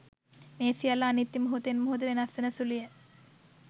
මේ සියල්ල අනිත්‍යය, මොහොතෙන් මොහොත වෙනස් වන සුළුය.